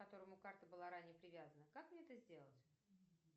к которому карта была ранее привязана как мне это сделать